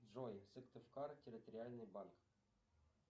джой сыктывкар территориальный банк